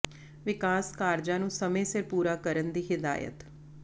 ਵਿਕਾਸ ਕਾਰਜਾਂ ਨੂੰ ਸਮੇਂ ਸਿਰ ਪੂਰਾ ਕਰਨ ਦੀ ਹਿਦਾਇਤ